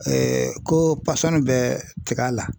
ko bɛ tika la.